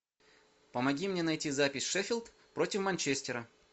помоги мне найти запись шеффилд против манчестера